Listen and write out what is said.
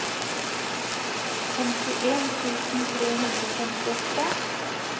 femtien tusen tre hundre og femtiåtte